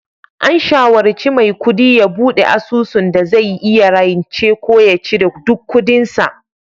An shawarci Maikudi ya bude asusun dai zai iya rance ko ya cire duk kudin sa